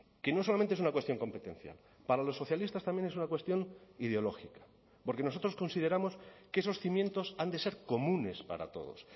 que no solamente es una cuestión competencial para los socialistas también es una cuestión ideológica porque nosotros consideramos que esos cimientos han de ser comunes para todos